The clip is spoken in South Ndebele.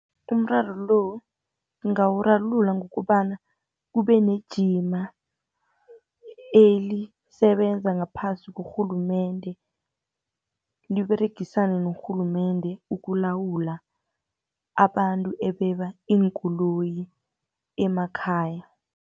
Umraro lo, ngawurarulula ngokobana kubenejima elisebenza ngaphasi korhulumende, liberegisane norhulumende, ukulawula abantu ebeba iinkoloyi emakhaya.